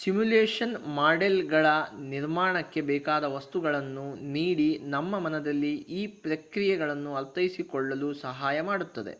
simulation ಮಾಡೆಲ್ಗಳ ನಿರ್ಮಾಣಕ್ಕೆ ಬೇಕಾದ ವಸ್ತುಗಳನ್ನು ನೀಡಿ ನಮ್ಮ ಮನದಲ್ಲಿ ಈ ಪ್ರಕ್ರಿಯೆಗಳನ್ನು ಅರ್ಥೈಸಿಕೊಳ್ಳಲು ಸಹಾಯ ಮಾಡುತ್ತದೆ